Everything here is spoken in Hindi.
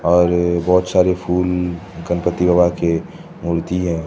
और बहुत सारे फूल गणपति बाबा के मूर्ति है।